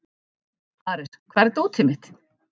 Ares, hvar er dótið mitt?